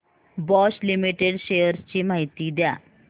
Bosch limited shares ची माहिती द्या